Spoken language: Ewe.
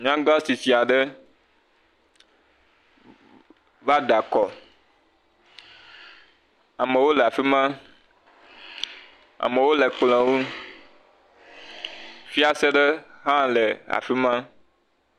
nyaŋga tsitsiaɖe vá da kɔ amewo le afima amewo le kplɔ̃ ŋu fiase ɖe le hã le afima